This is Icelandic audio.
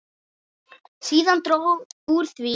Síðan dró úr því.